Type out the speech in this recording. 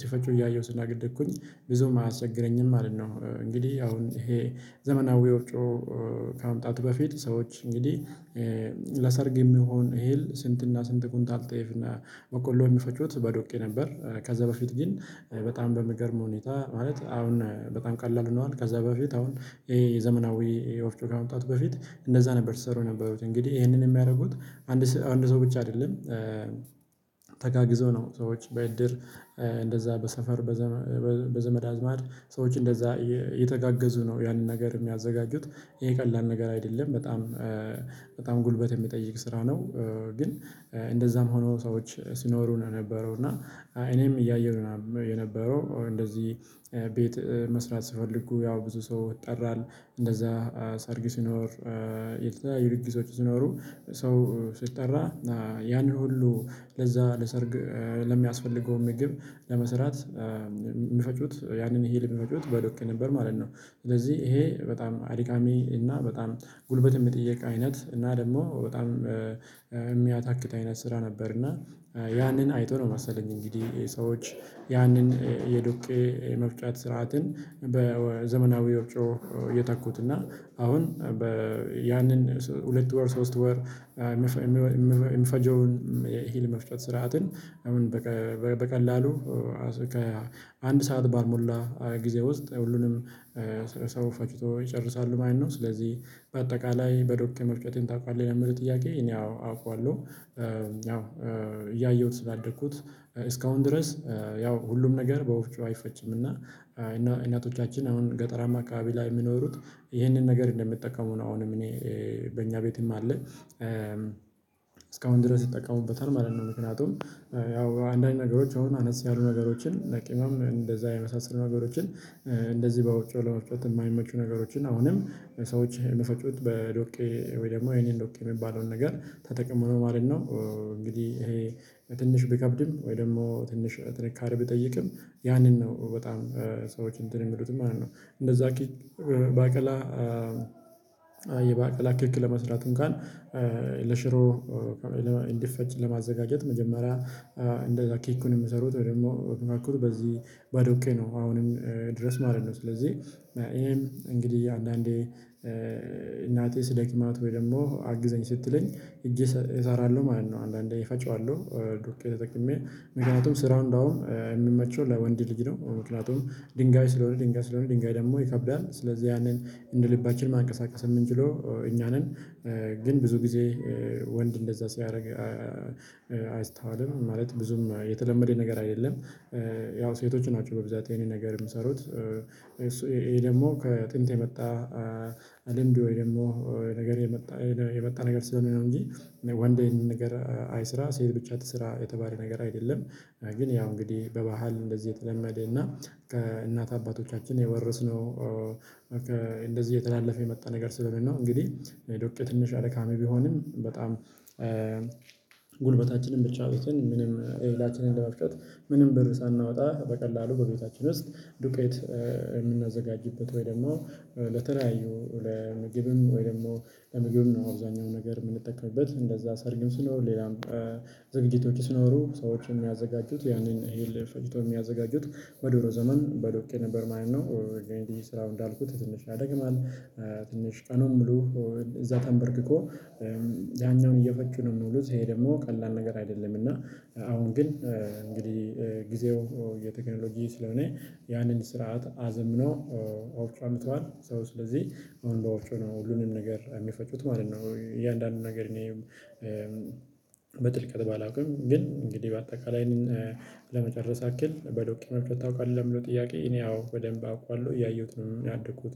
ሲፈጩ እያየሁ ስላደኩኝ ብዙም አያስቸግረኝም ማለት ነው። እንግዲህ አሁን ይሄ ዘመናዊ ወፍጮ ከመምጣቱ በፊት ሰዎች እንግዲህ ለሰርግ የሚሆን እህል ስንትና ስንት ኩንታል ጤፍና በቆሎ የሚፈጩት በዶቄ ነበር። ከዛ በፊት ግን በጣም በሚገርም ሁኔታ ማለት አሁን በጣም ቀላል ሆነዋል ከዛ በፊት አሁን ይሄ የዘመናዊ ወፍጮ ከመምጣቱ በፊት እንደዛ ነበር ሲሰሩ የነበሩት እንግዲህ ይሄንን የሚያደርጉት አንድ አንድ ሰው ብቻ አይደለም። ተጋግዘው ነው ሰዎች በእድር እንደዛ በሰፈር በዘመድ አዝማድ ሰዎች እንደዛ እየተጋገዙ ነው ያንን ነገር የሚያዘጋጁት ይሄ ቀላል ነገር አይደለም በጣም ጉልበት የሚጠይቅ ስራ ነው። ግን እንደዛም ሆኖ ሰዎች ሲኖሩ የነበረው እና እኔም እያየሁ የነበረው እንደዚህ ቤት መስራት ስፈልጉ ያው ብዙ ሰው ይጠራል እንደዛ ሰርግ ሲኖር የተለያዩ ድግሶች ሲኖሩ ሰው ሲጠራ ያንን ሁሉ ለዛ ለሰርግ ለሚያስፈልገው ምግብ ለመስራት የሚፈጩት ያንን እህል የሚፈጩት በዶቄ ነበር ማለት ነው። ስለዚህ ይሄ በጣም አድካሚ እና በጣም ጉልበት የሚጠየቅ አይነት እና ደግሞ በጣም የሚያታክት አይነት ስራ ነበር። እና ያንን አይቶ ነው መሰለኝ እንግዲህ ሰዎች ያንን የዶቄ የመፍጨት ስርዓትን በዘመናዊ ወፍጮ የተኩት እና አሁን በያንን ሁለት ወር ሶስት ወር የሚፈጀውን እሂል መፍጨት ስርዓትን በቀላሉ ከአንድ ሰዓት ባልሞላ ጊዜ ውስጥ ሁሉንም ሰው ፈጭቶ ይጨርሳሉ ማለት ነው። ስለዚህ በአጠቃላይ በዶቄ መፍጨቴን ታውቃለህ ለሚለው ጥያቄ እኔ አው አውቃለሁ። ያው እያየሁት ስላደግኩት እስካሁን ድረስ ያው ሁሉም ነገር በወፍጮ አይፈጭም። እና እናቶቻችን አሁን ገጠራማ አካባቢ ላይ የሚኖሩት ይህንን ነገር እንደምጠቀሙ ነው አሁንም እኔ በእኛ ቤትም አለ እስካሁን ድረስ ይጠቃሙበታል ማለት ነው። ምክንያቱም ያው አንዳንድ ነገሮች አሁን አነስ ያሉ ነገሮችን ለቂምም እንደዛ የመሳሰሉ ነገሮችን እንደዚህ በወፍጮ ለመፍጨት የማይመቹ ነገሮችን አሁንም ሰዎች የሚፈጩት በዶቄ ወይ ደግሞ ይሄንን ዶቄ የሚባለውን ነገር ተጠቅመው ነው ማለት ነው። እንግዲህ ይሄ ትንሽ ቢከብድም ወይ ደግሞ ትንሽ ጥንካሬ ቢጠይቅም ያንን ነው በጣም ሰዎች እንትን የሚሉትም ማለት ነው። እንደዛ ባቄላ የባቄላ ክክ ለመስራት እንኳን ለሽሮ እንዲፈጭ ለማዘጋጀት መጀመሪያ እንደዛ ኬኩን የምሰሩት ወይ ደግሞ በዚህ ባዶቄ ነው አሁንም ድረስ ማለት ነው። ስለዚህ ይሄም እንግዲህ አንዳንዴ እናቴ ስደክማት ወይ ደግሞ አግዘኝ ስትለኝ እሰራለሁ ማለት ነው። አንዳንዴ እፈጨዋለሁ ዶቄ ተጠቅሜ ምክንያቱም ስራው እንደው የሚመቸው ለወንድ ልጅ ነው ምክንያቱም ድንጋይ ስለሆነ ድንጋይ ስለሆነ ድንጋይ ደግሞ ይከብዳል ስለዚህ ያንን እንደ ልባችን ማንቀሳቀስም እምንችለው እኛ ነን። ግን ብዙ ጊዜ ወንድ እንደዛ ሲያደርግ አይስተዋልም ማለት ብዙም የተለመደ ነገር አይደለም። ያው ሴቶች ናቸው በብዛት ይሄንን ነገር የምሰሩት። ይሄ ደግሞ ከጥንት የመጣ አለም ደግሞ ነገር የመጣ የመጣ ነገር ስለሆነ ነው እንጂ ወንድ ይሄንን ነገር አይስራ ሴት ብቻ ትስራ የተባለ ነገር አይደለም። ግን ያው እንግዲህ በባህል እንደዚህ የተለመደ እና ከእናት አባቶቻችን የወረስነው። እንደዚህ እየተላለፈ የመጣ ነገር ስለሆነው እንግዲህ ዶቄ ትንሽ አድካሚ ቢሆንም በጣም ብቻ ቤትን ምንም እህላችንን ለመፍጨት ምንም ብር ሳናወጣ በቀላሉ በቤታችን ውስጥ ዱቄት የምናዘጋጅበት ወይ ደግሞ ለተለያዩ ለምግብም ወይ ደግሞ ለምግብም ነው አብዛኛው ነገር የምንጠቀምበት እንደዛ ሰርግም ስኖር ሌላም ዝግጅቶች ስኖሩ ሰዎች የሚያዘጋጁት ያንን እህል ፈጭቶ የሚያዘጋጁት በድሮ ዘመን በዶቄ ነበር ማለት ነው። ስራው እንዳልኩት ትንሽ ያደክማል። ትንሽ ቀኑን ሙሉ እዛ ተምበርክኮ ያኛውን እየፈጩ ነው የሚውሉት ይሄ ደግሞ ቀላል ነገር አይደለም። እና አሁን ግን እንግዲህ ጊዜው የቴክኖሎጂ ስለሆነ ያንን ስርዓት አዘምኖ አምተዋል ሰው ስለዚህ አሁን በወፍጮ ነው ሁሉንም ነገር የሚፈጩት ማለት ነው። እያንዳንዱን ነገር እኔ በጥልቀት ባላውቅም ግን እንግዲህ በአጠቃላይ ለመጨረስ ያክል በዶቄ መፍጨት ታውቃለህ? ለምለው ጥያቄ እኔ አዎ በደንብ አውቃለሁ እያየሁት ነው ያደኩት